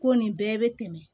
Ko nin bɛɛ bɛ tɛmɛ